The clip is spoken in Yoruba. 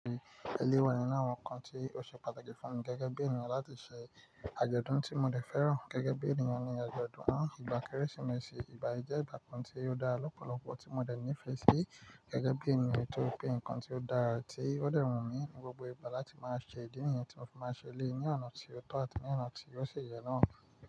Eléyii wa ninu awọn ǹkan tí ó ṣe pàtàkì fún mi gẹ́gẹ́ bí ènìyàn láti ṣe àjọ̀dún tí mo dẹ̀ fẹ́ràn gẹ́gẹ́ bí ènìyàn ní àjọ̀dún ìgbà Kérésìmesì. Ìgba yi ìjẹ ìgbà kan tí ó dára lọ́pọ̀lọpọ̀ tí mo dẹ̀ nífẹ̀ẹ́ sí gẹ́gẹ́ bí ènìyàn torìpè ǹkan tí ó dára tí ó dẹ̀ wù mí ní gbogbo ìgbà láti máa ṣe ìdí nìyẹn tí mo fi máa ṣelé ní ọ̀nà tí ó tọ̀ àti ní ọ̀nà tí ó ṣi yẹ náà.